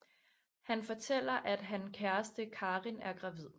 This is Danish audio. Han fortæller at han kæreste Karin er gravid